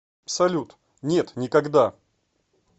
салют нет никогда